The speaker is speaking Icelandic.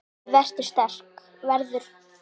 Verður sterk.